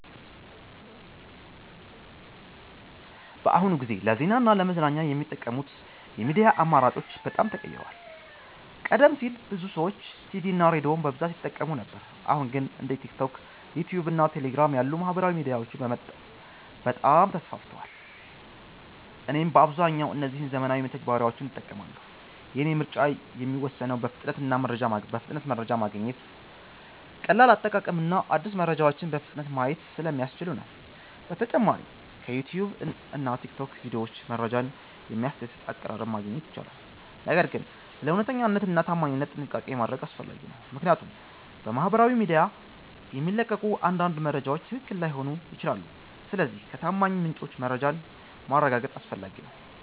በአሁኑ ጊዜ ለዜና እና ለመዝናኛ የሚጠቀሙት የሚዲያ አማራጮች በጣም ተቀይረዋል። ቀደም ሲል ብዙ ሰዎች ቲቪ እና ሬዲዮን በብዛት ይጠቀሙ ነበር አሁን ግን እንደ ቲክቶክ፣ ዩትዩብ እና ቴሌግራም ያሉ ማህበራዊ ሚዲያዎች በጣም ተስፋፍተዋል። እኔም በአብዛኛው እነዚህን ዘመናዊ መተግበሪያዎች እጠቀማለሁ። የእኔ ምርጫ የሚወሰነው በፍጥነት መረጃ ማግኘት፣ ቀላል አጠቃቀም እና አዳዲስ መረጃዎችን በፍጥነት ማየት ስለሚያስችሉ ነው። በተጨማሪም በዩትዩብ እና በቲክቶክ ቪዲዮዎች መረጃን በሚያስደስት አቀራረብ ማግኘት ይቻላል። ነገር ግን ስለ እውነተኛነት እና ታማኝነት ጥንቃቄ ማድረግ አስፈላጊ ነው፣ ምክንያቱም በማህበራዊ ሚዲያ የሚለቀቁ አንዳንድ መረጃዎች ትክክል ላይሆኑ ይችላሉ። ስለዚህ ከታማኝ ምንጮች መረጃን ማረጋገጥ አስፈላጊ ነው።